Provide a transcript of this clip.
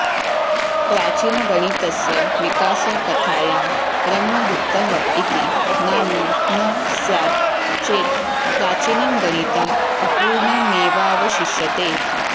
प्राचीनगणितस्य विकासकथायां ब्रह्मगुप्तः इति नाम न स्यात् चेत् प्राचीनं गणितं अपूर्णमेवावशिष्यते